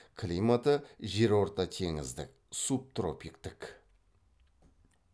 климаты жерортатеңіздік субтропиктік